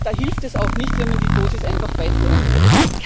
Da hilft es auch nicht, wenn man die Dosis einfach weiter erhöht.